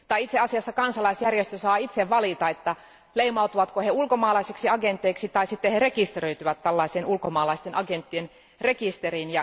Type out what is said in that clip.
Tai itse asiassa kansalaisjärjestö saa itse valita, leimautuvatko he ulkomaisiksi agenteiksi vai rekisteröityvätkö tällaiseen ulkomaisten agenttien rekisteriin.